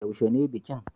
Yaushe ne bikin